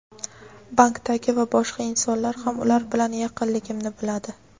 Bankdagi va boshqa insonlar ham ular bilan yaqinligimni biladi.